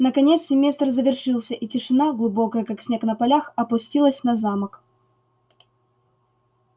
наконец семестр завершился и тишина глубокая как снег на полях опустилась на замок